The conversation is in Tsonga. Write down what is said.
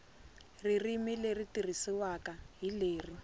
ririmi leri tirhisiwaka hi lero